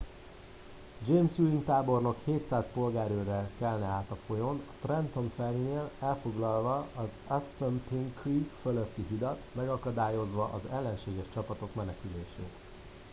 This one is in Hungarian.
james ewing tábornok 700 polgárőrrel kelne át a folyón trenton ferry nél elfoglalva az assunpink creek fölötti hidat megakadályozva az ellenséges csapatok menekülését